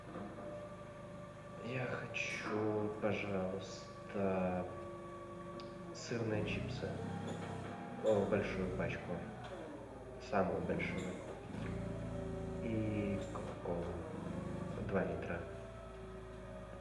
я хочу пожалуйста сырные чипсы большую пачку самую большую и кока колу два литра